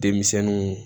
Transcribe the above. Denmisɛnninw